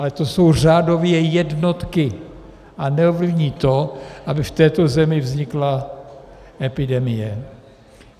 Ale to jsou řádově jednotky a neovlivní to, aby v této zemi vznikla epidemie.